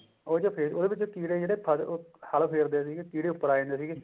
ਉਹ ਜੋ ਉਹਦੇ ਵਿੱਚ ਕੀੜੇ ਹਲ ਫੇਰਦੇ ਸੀਗੇ ਕੀੜੇ ਉੱਪਰ ਆ ਜਾਂਦੇ ਸੀਗੇ